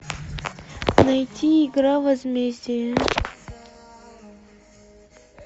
найти игра возмездие